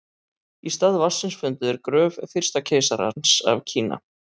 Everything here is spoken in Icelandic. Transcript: í stað vatnsins fundu þeir gröf fyrsta keisarans af kína